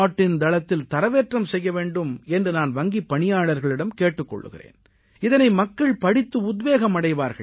இன் தளத்தில் தரவேற்றம் செய்ய வேண்டும் என்று நான் வங்கிப் பணியாளர்களிடம் கேட்டுக் கொள்கிறேன் இதனை மக்கள் படித்து உத்வேகம் அடைவார்கள்